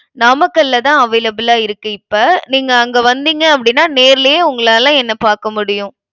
நாமக்கல்லதான், available ஆ இருக்கு, இப்ப. நீங்க அங்க வந்தீங்க அப்படின்னா நேர்லயே உங்களால என்னை பாக்க முடியும்.